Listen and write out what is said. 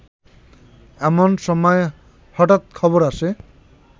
এমন সময় হঠাৎ খবর আসে